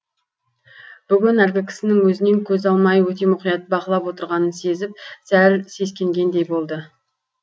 бүгін әлгі кісінің өзінен көз алмай өте мұқият бақылап отырғанын сезіп сәл сескенгендей болды